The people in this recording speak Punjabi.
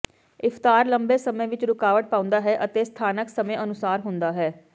ਇਫਤਾਰ ਲੰਬੇ ਸਮੇਂ ਵਿਚ ਰੁਕਾਵਟ ਪਾਉਂਦਾ ਹੈ ਅਤੇ ਸਥਾਨਕ ਸਮੇਂ ਅਨੁਸਾਰ ਹੁੰਦਾ ਹੈ